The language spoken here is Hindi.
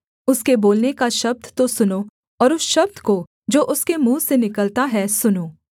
उसके बोलने का शब्द तो सुनो और उस शब्द को जो उसके मुँह से निकलता है सुनो